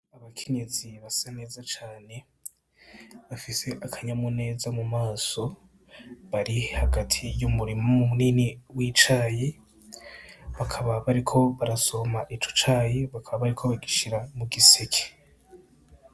Abakenyezi basa neza cane bafise akanyamuneza mu maso bari hagati y'umurima munini w'icayi bakaba bariko barasoroma ico cayi bakaba bariko bagishira mu giseke.